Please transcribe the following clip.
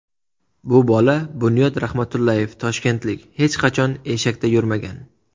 Bu bola Bunyod Rahmatullayev toshkentlik, hech qachon eshakda yurmagan.